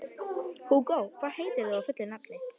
Hugó, hvað heitir þú fullu nafni?